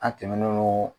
An tɛmɛn'o